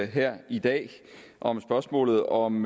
her i dag om spørgsmålet om